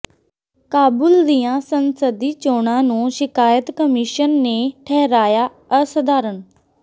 ਕਾਬੁਲ ਦੀਆਂ ਸੰਸਦੀ ਚੋਣਾਂ ਨੂੰ ਸ਼ਿਕਾਇਤ ਕਮਿਸ਼ਨ ਨੇ ਠਹਿਰਾਇਆ ਅਸਾਧਾਰਨ